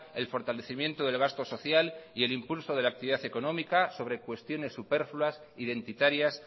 el fortalecimiento del gasto social y el impulso de la actividad económica sobre cuestiones superfluas identitarias